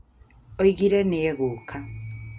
Oigire nĩ egũũka